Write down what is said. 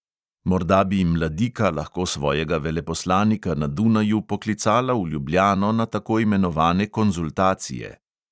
Morda bi mladika lahko svojega veleposlanika na dunaju poklicala v ljubljano na tako imenovane konzultacije.